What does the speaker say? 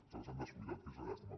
se les han descuidat que és una llàstima